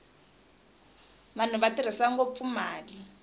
vanhu va tirhisa ngopfu mali